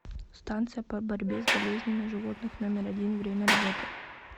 станция по борьбе с болезнями животных номер один время работы